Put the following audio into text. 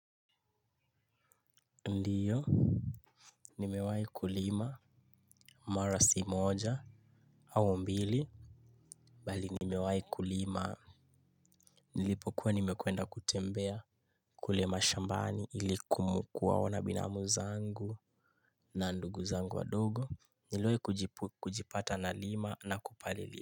Ndiyo nimewahi kulima mara si moja au mbili bali nimewahi kulima nilipokuwa nimeenda kutembea kule mashambani kuwaona binamu zangu na ndugu zangu wadogo niliwahi kujipata nalima na kupalilia.